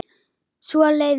Svo leið nóttin.